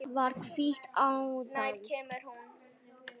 Það er hvíta aldan.